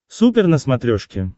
супер на смотрешке